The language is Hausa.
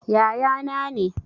Yaya na ne